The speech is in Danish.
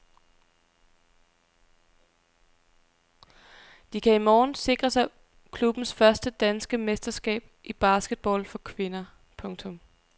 De kan i morgen sikre sig klubbens første danske mesterskab i basketball for kvinder. punktum